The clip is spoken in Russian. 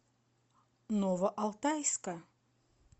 новоалтайска